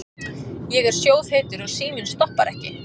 Ég er sjóðheitur og síminn stoppar ekki.